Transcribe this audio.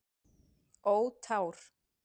Ó tár.